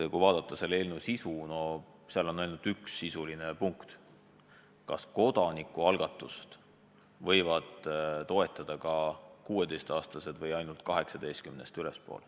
Kui vaadata selle eelnõu sisu, siis näeme, et seal on ainult üks sisuline paragrahv: kas kodanikualgatust võivad toetada ka vähemalt 16-aastased või ainult vähemalt 18-aastased.